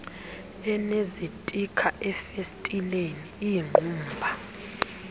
enezitikha ezifestileni iingqumba